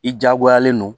I diyagoyalen don